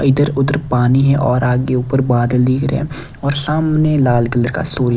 इधर-उधर पानी है और आगे ऊपर बादल दिख रहे हैं और सामने लाल कलर का सूर्य ।